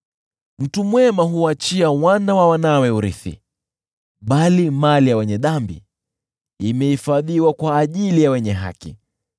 Mtu mwema huwaachia wana wa wanawe urithi, bali mali ya wenye dhambi imehifadhiwa kwa ajili ya wenye haki.